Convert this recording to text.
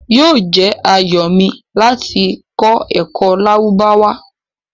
Yoo jẹ́ ayọ̀ mi lati kọ̀ ẹ́kọ Lárúbáwá